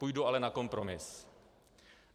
Půjdu ale na kompromis.